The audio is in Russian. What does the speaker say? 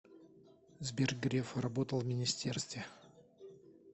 сбер греф работал в министерстве